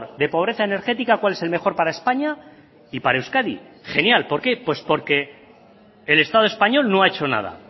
de pobreza energética cuál es el mejor para españa y para euskadi genial por qué porque el estado español no ha hecho nada